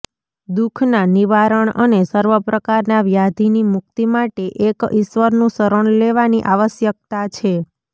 દુઃખના નિવારણ અને સર્વપ્રકારના વ્યાધિની મુક્તિ માટે એક ઇશ્વરનું શરણ લેવાની આવશ્યકતા છે